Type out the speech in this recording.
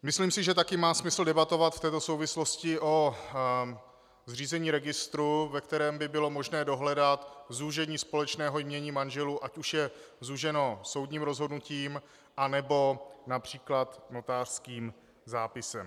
Myslím si, že také má smysl debatovat v této souvislosti o zřízení registru, ve kterém by bylo možné dohledat zúžení společného jmění manželů, ať už je zúženo soudním rozhodnutím, anebo například notářským zápisem.